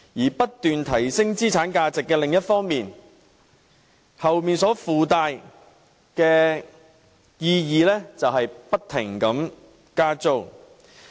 在不斷提升資產價值的另一方面所附帶的意義便是不停加租。